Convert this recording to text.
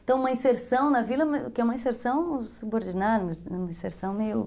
Então uma inserção na vila, que é uma inserção subordinada, uma inserção meio...